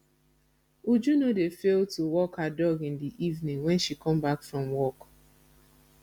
uju no dey fail to walk her dog in the evening wen she come back from work